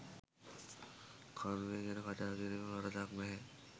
කර්මය ගැන කතා කිරීම වරදක් නැහැ.